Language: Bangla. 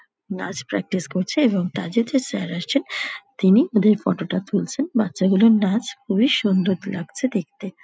নাচ প্র্যাক্টিস করছে এবং তাদের যে স্যার আছেন তিনি ওদের ফটো টা তুলছেন বাচ্চাগুলোর নাচ খুবই সুন্দর লাগছে দেখতে।